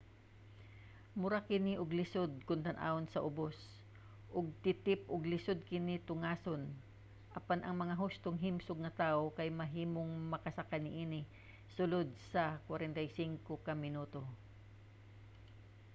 mura kini og lisod kon tan-awon sa ubos ug titip ug lisod kini tungason apan ang mga hustong himsog nga tawo kay mahimong makasaka niini sulod sa 45 ka minuto